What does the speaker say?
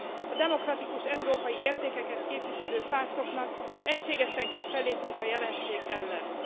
A demokratikus európai értékeket képviselő pártoknak egységesen kell fellépniük a jelenség ellen.